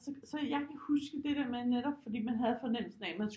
Så jeg kan huske det der med netop fordi man havde fornemmelsen af man skulle